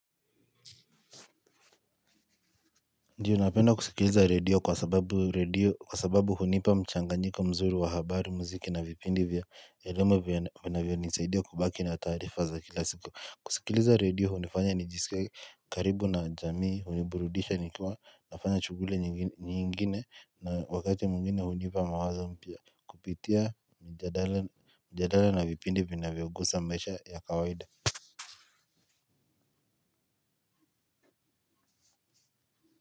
Ndiyo napenda kusikiliza radio kwasababu radio kwasababu hunipa mchanganyikomzuri wa habari, mziki na vipindi vya elimu vinavyonisaidia kubaki na tarifa za kilasiku, kusikiliza radio hunifanya nijisike karibu na jamii huniburudisha nikiwa nafanya shughuli nyingine na wakati mwingine hunipa mawazo mpya kupitia mjadala na vipindi vya vinavyogusa maisha ya kawaida.